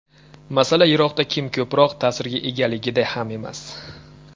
Masala Iroqda kim ko‘proq ta’sirga egaligida ham emas.